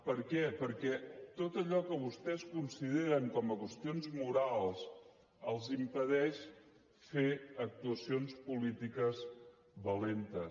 per què perquè tot allò que vostès consideren com a qüestions morals els impedeix fer actuacions polítiques valentes